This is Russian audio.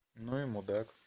ну и мудак